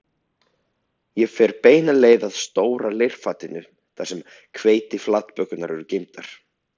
Ég fer beina leið að stóra leirfatinu þar sem hveitiflatbökurnar eru geymdar